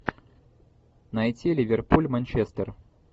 найти ливерпуль манчестер